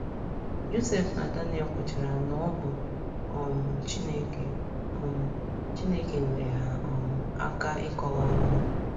Josef na Daniel kwuchara na ọ bụ um Chineke um Chineke nyeere ha um aka ịkọwa amụma